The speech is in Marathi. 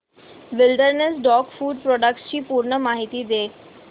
विलडेरनेस डॉग फूड प्रोडक्टस ची पूर्ण माहिती दे